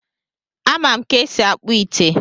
A ma m ka esi akpụ ite